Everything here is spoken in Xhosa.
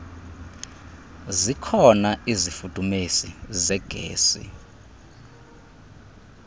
zikhona izifudumezi zegesi